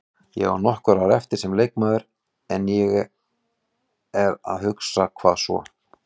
Ég á nokkur ár eftir sem leikmaður en ég er að hugsa, hvað svo?